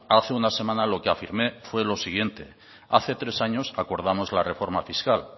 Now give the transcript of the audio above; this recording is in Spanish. hace una semana lo que afirmé fue lo siguiente hace tres años acordamos la reforma fiscal